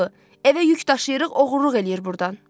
Evə yük daşıyırıq, oğurluq eləyir burdan.